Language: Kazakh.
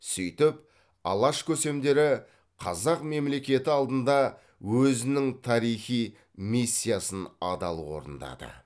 сөйтіп алаш көсемдері қазақ мемлекеті алдында өзінің тарихи миссиясын адал орындады